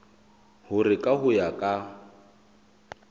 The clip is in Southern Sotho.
hore ka ho ya ka